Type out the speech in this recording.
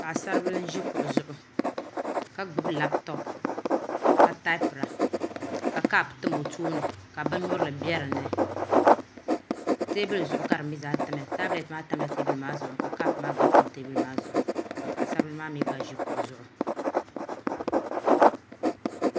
Paɣasribili n ʒi kuɣu zuɣu ka gbuni labtop ka taapira ka kaap tam o tooni ka bin nyurili bɛ dinni teebuli zuɣu ka di mii zaa tamya tabilɛt maa tamla teebuli maa zuɣu ka kaap maa gba tam teebuli maa zuɣu ka paɣasari bili maa mii gba ʒi kuɣu zuɣu